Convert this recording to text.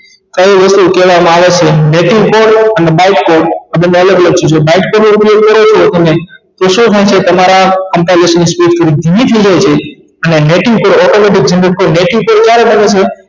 કઈ રીતે કેવામાં આવે છે આ બને અલગ અલગ છે જો લોકો ને શું તમારા composationspeach નું એવી જોડાય છે અને automatic generate થઇ